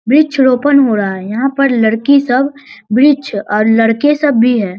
वृक्ष रोपण हो रहा है यहाँ पर लड़की सब वृक्ष और लड़के सब भी है।